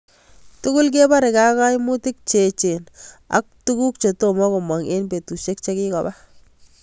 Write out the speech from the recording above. Tugul kebareke ak kaimutik che echen ak tuguk che tomo komangu eng betusiek chikikopa.